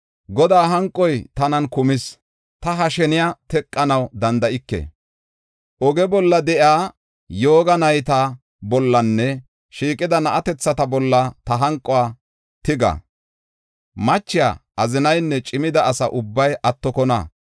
Godaa hanqoy tanan kumis. Ta ha sheniya teqanaw danda7ike. Oge bolla de7iya yooga nayta bollanne shiiqida na7atethata bolla ta hanquwa tiga. Machiya, azinaynne cimida asa ubbay attokona.